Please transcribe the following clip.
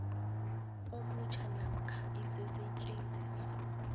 omutjha namkha isisetjenziswa